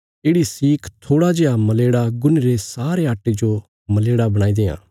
येढ़ि सीख थोड़ा जेआ मलेड़ा गुन्हीरे सारे आट्टे जो मलेड़ा बणाई देआं